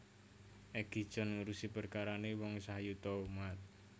Egi John ngurusi perkarane wong sayuta umat